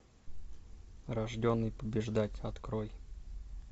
рожденный побеждать открой